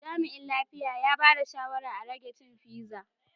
Jami'in lafiya ya bada shawarma a rage cin pizza.